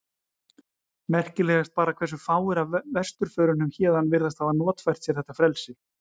Merkilegast bara hversu fáir af vesturförunum héðan virðast hafa notfært sér þetta frelsi.